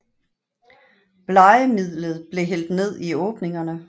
Blegemidlet blev hældt ned i åbningerne